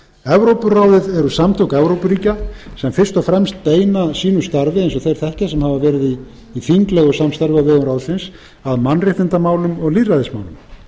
evrópuráðið eru samtök evrópuríkja sem fyrst og fremst beina sínu starfi eins og þeir þekkja sem hafa verið í þinglegu samstarfi á vegum ráðsins að mannréttindamálum og lýðræðismálum